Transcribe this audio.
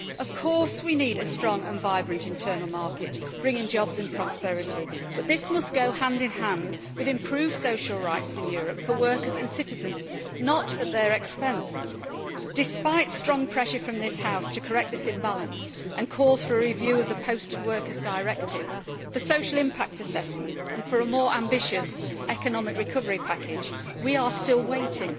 Of course we need a strong and vibrant internal market bringing jobs and prosperity, but this must go hand in hand with improved social rights in Europe for workers and citizens, not at their expense. Despite strong pressure from this House to correct this imbalance and calls for a review of the Posted Workers Directive, for social impact assessments and for a more ambitious economic recovery package, we are still waiting.